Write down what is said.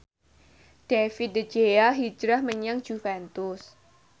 David De Gea hijrah menyang Juventus